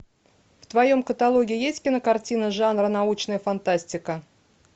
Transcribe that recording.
в твоем каталоге есть кинокартина жанра научная фантастика